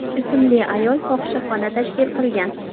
ismli ayol fohishaxona tashkil qilgan.